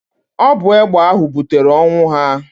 Ọ bụ egbe ahụ butere ọnwụ ha.